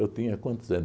tinha quantos anos?